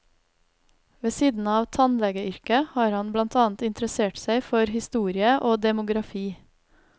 Ved siden av tannlegeyrket har han blant annet interessert seg for historie og demografi.